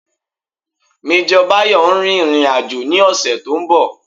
Major Bayo ń rìnrìn àjò ní ọ̀sẹ̀ to ń bọ̀